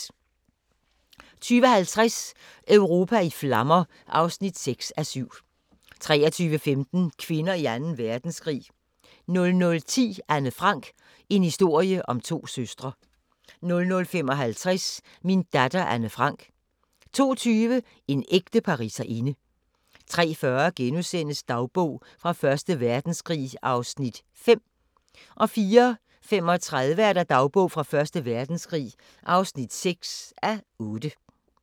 20:50: Europa i flammer (6:7) 23:15: Kvinder i Anden Verdenskrig 00:10: Anne Frank - en historie om to søstre 00:55: Min datter Anne Frank 02:20: En ægte pariserinde 03:40: Dagbog fra Første Verdenskrig (5:8)* 04:35: Dagbog fra Første Verdenskrig (6:8)